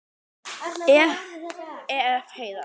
Ef. Heiðar